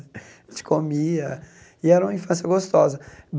comia, e era uma infância gostosa.